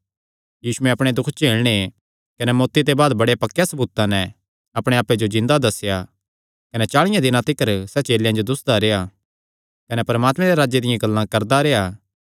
यीशुयैं अपणे दुख झेलणे कने मौत्ती दे बाद बड़े पक्केयां सबूतां नैं अपणे आप्पे जो जिन्दा दस्सेया कने चाल़ियां दिनां तिकर सैह़ चेलेयां जो दुस्सदा रेह्आ कने परमात्मे दे राज्जे दियां गल्लां करदा रेह्आ